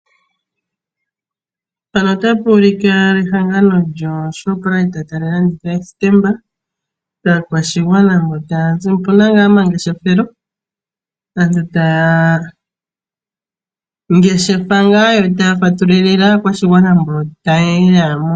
Ehangano lyoShoprite tali landitha stamp kaakwashigwana mbija tayazimo opuna omangeshefelo aantu taya ngeshefa nokufatululila aakwashigwana mboka yeya.